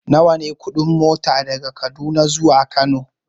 Nawa ne kuɗin mota daga Kaduna zuwa Kano?